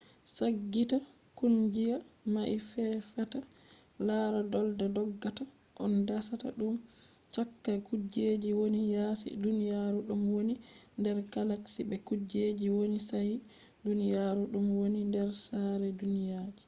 saggita kungiya mai tefata lara dolda doggata on dasata dum cakka kujejji woni yasi duniyaru ɗum woni nder galaxy be kujejji woni yasi duniyaru ɗum woni nder saare duniyaji